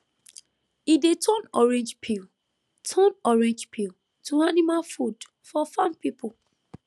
e dey turn orange peel turn orange peel to animal food for farm people